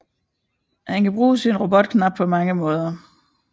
Han kan bruge sin robotkrop på mange måder